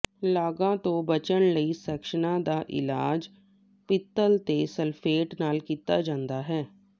ਲਾਗਾਂ ਤੋਂ ਬਚਣ ਲਈ ਸੈਕਸ਼ਨਾਂ ਦਾ ਇਲਾਜ ਪਿੱਤਲ ਦੇ ਸਲਫੇਟ ਨਾਲ ਕੀਤਾ ਜਾਂਦਾ ਹੈ